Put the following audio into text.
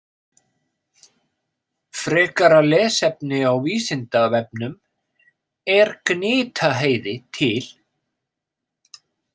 Frekara lesefni á Vísindavefnum Er Gnitaheiði til?